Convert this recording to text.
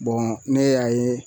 ne y'a ye